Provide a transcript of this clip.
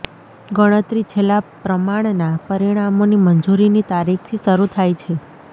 ગણતરી છેલ્લા પ્રમાણના પરિણામોની મંજૂરીની તારીખથી શરૂ થાય છે